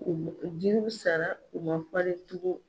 U jiriw sara u ma falen tugun.